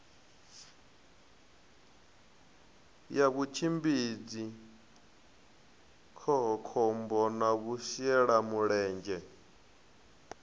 ya vhutshimbidzi khohakhombo na vhashelamulenzhe